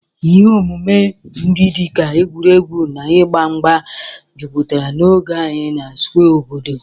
Ihe omume ndị dị ka egwuregwu na ịgba mgba jupụtara n'oge anyị na Square obodo.